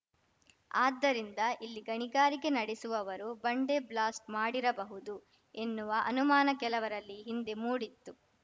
ಆದ್ದರಿಂದ ಇಲ್ಲಿ ಗಣಿಗಾರಿಕೆ ನಡೆಸುವವರು ಬಂಡೆ ಬ್ಲಾಸ್ಟ್ ಮಾಡಿರಬಹುದು ಎನ್ನುವ ಅನುಮಾನ ಕೆಲವರಲ್ಲಿ ಹಿಂದೆ ಮೂಡಿತ್ತು